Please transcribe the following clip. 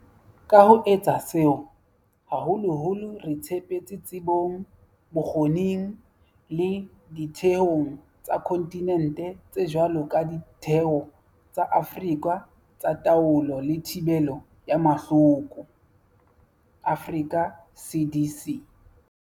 Ka ho etsa seo, haholoholo re tshepetse tsebong, bokgoning le ditheong tsa kontinente tse jwalo ka Ditheo tsa Afrika tsa Taolo le Thibelo ya Mahloko, Africa CDC.